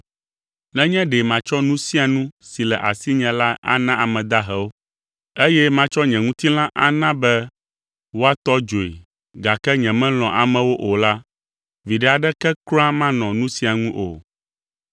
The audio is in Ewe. Nenye ɖe matsɔ nu sia nu si le asinye la ana ame dahewo, eye matsɔ nye ŋutilã ana be woatɔ dzoe, gake nyemelɔ̃a amewo o la, viɖe aɖeke kura manɔ nu sia ŋu o.